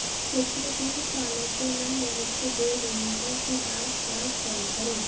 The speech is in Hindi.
पिछले तीन सालों से मैं मोहित को बोल रही हूं कि डांस क्लास ज्वाइन करो